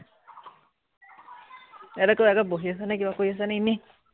এতিয়া তই আকৌ বহি আছ নে, কিবা কৰি আছ নে এনেই